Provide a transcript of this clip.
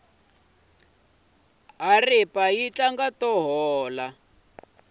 haripa yi tlanga to hola